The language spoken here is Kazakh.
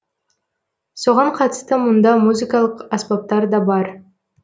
соған қатысты мұнда музыкалық аспаптар да бар